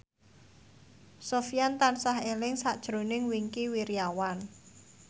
Sofyan tansah eling sakjroning Wingky Wiryawan